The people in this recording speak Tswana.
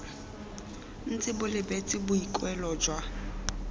ntse bo lebeletse boikuelo jwa